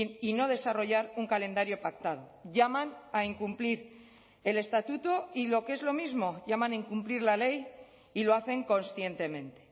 y no desarrollar un calendario pactado llaman a incumplir el estatuto y lo que es lo mismo llaman a incumplir la ley y lo hacen conscientemente